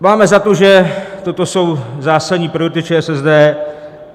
Máme za to, že toto jsou zásadní priority ČSSD.